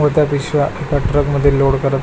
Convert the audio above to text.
मोठ्या पिशव्या एका ट्रक मध्ये लोड करत --